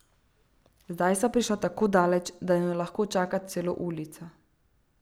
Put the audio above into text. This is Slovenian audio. Zdaj sva prišla tako daleč, da naju lahko čaka celo ulica.